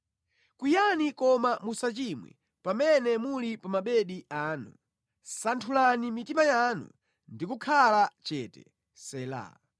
Kwiyani koma musachimwe; pamene muli pa mabedi anu, santhulani mitima yanu ndi kukhala chete. Sela